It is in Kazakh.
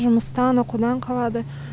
жұмыстан оқудан қалады